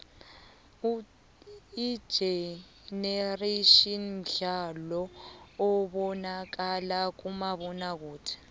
igenerations mdlalo obonakala kumabonakude